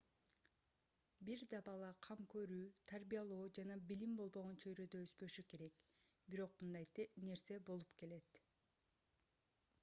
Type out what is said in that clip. бир да бала кам көрүү тарбиялоо жана билим болбогон чөйрөдө өспөшү керек бирок мындай нерсе болуп келет